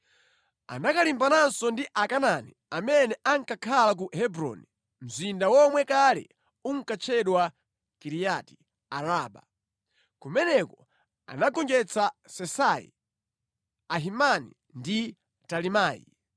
Anakalimbananso ndi Akanaani amene ankakhala ku Hebroni (mzinda womwe kale unkatchedwa Kiriyati-Araba). Kumeneko anagonjetsa Sesai, Ahimani ndi Talimai.